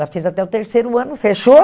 Ela fez até o terceiro ano, fechou.